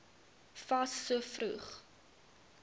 fas so vroeg